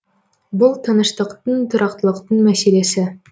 бұл тыныштықтың тұрақтылықтың мәселесі